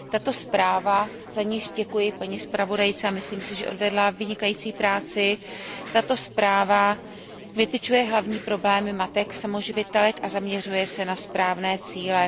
Tato zpráva za níž děkuji paní zpravodajce, a myslím si, že odvedla vynikající práci vytyčuje hlavní problémy matek samoživitelek a zaměřuje se na správné cíle.